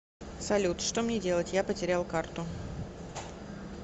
салют что мне делать я потерял карту